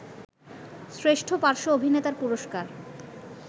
শ্রেষ্ঠ পার্শ্ব অভিনেতার পুরস্কার